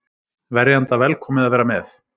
Verjanda velkomið að vera með